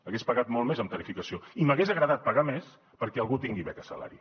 hagués pagat molt més en tarifació i m’hagués agradat pagar més perquè algú tingui beca salari